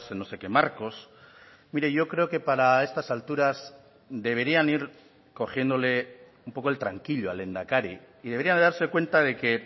no sé qué marcos mire yo creo que para estas alturas deberían ir cogiéndole un poco el tranquillo al lehendakari y debería de darse cuenta de que